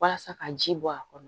Walasa ka ji bɔ a kɔrɔ